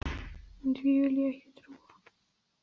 En því vil ég ekki trúa.